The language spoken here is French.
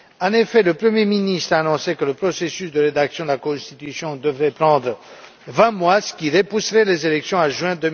En effet, le premier ministre a annoncé que le processus de rédaction de la constitution devrait prendre vingt mois, ce qui repousserait les élections à juin